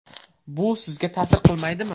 Bu sizga ta’sir qilmaydimi?